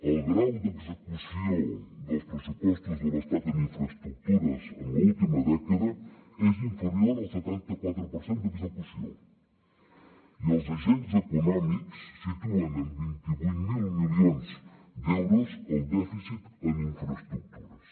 el grau d’execució dels pressupostos de l’estat en infraestructures en l’última dècada és inferior al setanta quatre per cent d’execució i els agents econòmics situen en vint vuit mil milions d’euros el dèficit en infraestructures